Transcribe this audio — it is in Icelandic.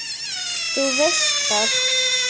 Þú veist það!